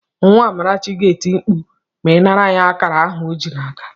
Nwa Amarachi ga-eti mkpu ma ị nara ya akara ahụ ọ ji n'aka.